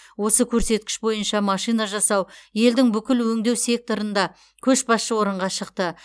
осы көрсеткіш бойынша машина жасау елдің бүкіл өңдеу секторында көшбасшы орынға шықты